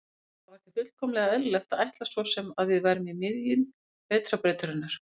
Það var því fullkomlega eðlilegt að ætla sem svo að við værum í miðju Vetrarbrautarinnar.